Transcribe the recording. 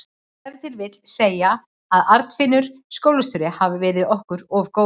Ef til vill má segja að Arnfinnur skólastjóri hafi verið okkur of góður.